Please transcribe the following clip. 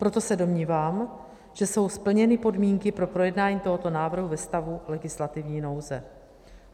Proto se domnívám, že jsou splněny podmínky pro projednání tohoto návrhu ve stavu legislativní nouze.